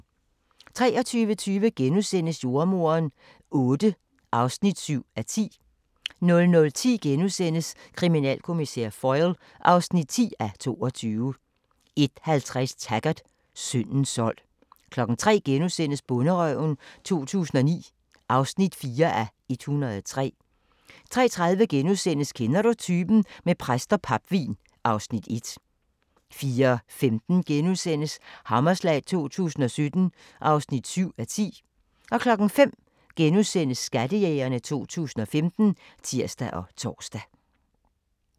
23:20: Jordemoderen VIII (7:10)* 00:10: Kriminalkommissær Foyle (10:22)* 01:50: Taggart: Syndens sold 03:00: Bonderøven 2009 (4:103)* 03:30: Kender du typen? - med præst og papvin (Afs. 1)* 04:15: Hammerslag 2017 (7:10)* 05:00: Skattejægerne 2015 *(tir og tor)